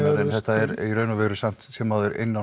þetta er í raun og veru samt sem áður inni á